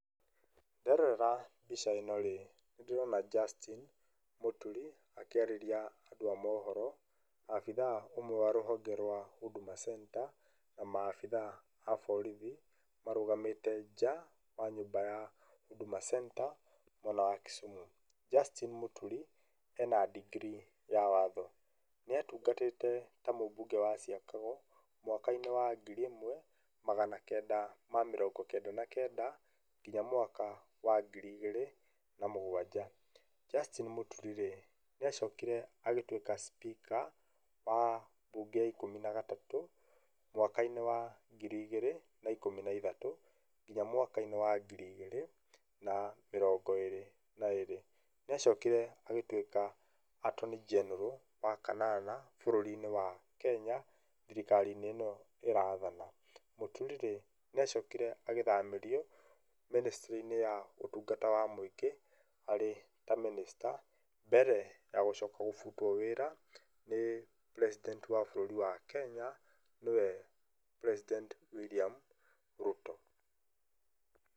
Nderorera mbica ĩno rĩ, nĩ ndĩrona Jastin Muturi akĩarĩria andũ a mohoro, abitha ũmwe wa rũhonge rwa Huduma Center, na ma abitha a borithi marũgamĩte nja ya nyũmba ya Huduma Center mwena wa Kisumu, Justine muturi ena ndigiri ya watho, nĩatungatĩte ta mũbunge wa ciakago mwaka-inĩ wa ngiri ĩmwe magana kenda ma mĩrongo kenda na kenda, nginya mwaka wa ngiri igĩrĩ na mũgwanja, Justine Muturi rĩ, nĩ acokire agĩtuĩka speaker wa bunge ya ikũmi na gatatũ, mwaka-inĩ wa ngiri igĩrĩ na ikũmi na ithatũ, nginya mwaka-inĩ wa ngiri igĩrĩ na mĩrongo ĩrĩ na ĩrĩ, nĩ acokire agĩtuĩka Antony General wa kanana bũrũri-inĩ wa Kenya, thirikari-inĩ ĩno ĩrathana, mũturi rĩ, nĩ acokire agĩthamĩrio ministry inĩ ya ũtungata wa mũingĩ arĩ ta minister mbere ya gũcoka gũbutuo wĩra nĩ president wa bũrũri wa Kenya, nĩwe President William Ruto.